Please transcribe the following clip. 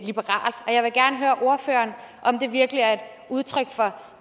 liberalt og jeg vil gerne høre ordføreren om det virkelig er et udtryk for